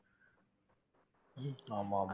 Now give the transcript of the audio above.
உம் ஆமா ஆமா